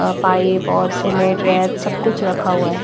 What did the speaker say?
यहां पाइप और सीमेंट रेत सब कुछ रखा हुआ है।